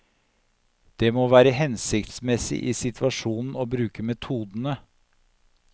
Det må være hensiktsmessig i situasjonen å bruke metodene.